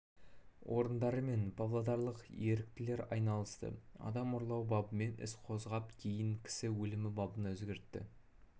орындары мен павлодарлық еріктілер айналысты адам ұрлау бабымен іс қозғап кейін кісі өлімі бабына өзгертті